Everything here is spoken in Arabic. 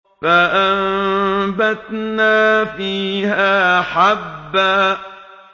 فَأَنبَتْنَا فِيهَا حَبًّا